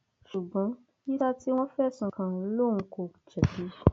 ṣùgbọn yísà tí wọn fẹsùn kàn lòun kò jẹbi